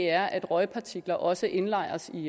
er at røgpartikler også indlejres i